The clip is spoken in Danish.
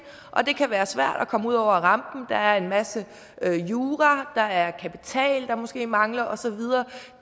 det kan være svært at komme ud over rampen der er en masse jura der er kapital der måske mangler og så videre